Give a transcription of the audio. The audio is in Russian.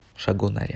шагонаре